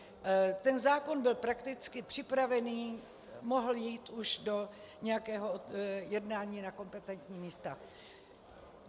Ten zákon byl prakticky připravený, mohl jít už do nějakého jednání na kompetentní místa.